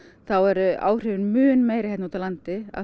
þá eru áhrifin mun meiri hér úti á landi af